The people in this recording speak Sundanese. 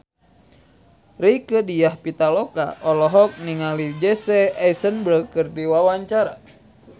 Rieke Diah Pitaloka olohok ningali Jesse Eisenberg keur diwawancara